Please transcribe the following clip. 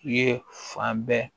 Ye fan bɛɛ